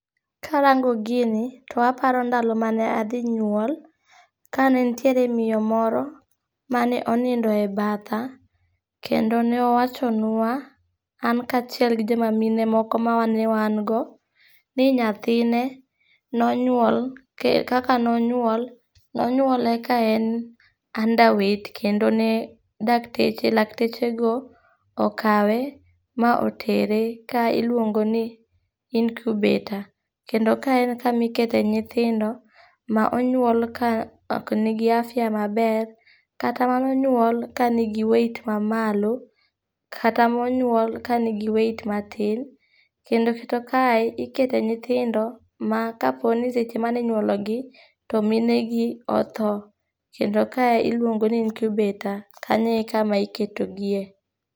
Karango gini, to aparo ndalo mane adhi nyuol, kane nitiere miyo moro mane onindo e batha, kendo ne owachonwa an kaachiel gi joma mine moko mane wan go ni nyathine ne onywol, kaka ne onywol, ne onywole ka en underwait kendo ne dakteche laktechego okawe ma otere kama iluongoni icubator, kendo ka en kama ikete nyithindo ma onywol ka ok nigi afya maber kata manonyuol ka nigi weight mamalo kata monyuol ka nigi weight matin. Kendo kata kae ikete nyithindo ma kapo ni seche mane inywologi to mine gi otho, kendo kae iluongoni incubator. Kanyo e kama iketogie.